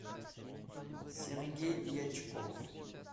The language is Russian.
сергей дьячков